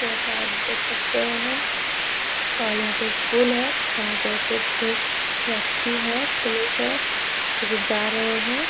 यहाँ पे आप देख सकते हैं और यहाँ पे एक पुल है जहां पे कुछ व्यक्ति हैं पुलिस हैं जो की जा रहे हैं।